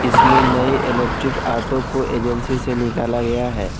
इसमें नई electric auto को एजेंसी से निकला गया है।